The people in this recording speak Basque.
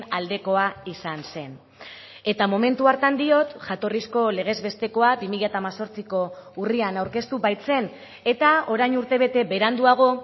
aldekoa izan zen eta momentu hartan diot jatorrizko legez bestekoa bi mila hemezortziko urrian aurkeztu baitzen eta orain urtebete beranduago